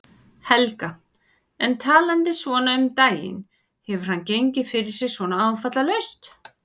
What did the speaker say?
Helga: En talandi svona um daginn, hefur hann gengið fyrir sig svona áfallalaust?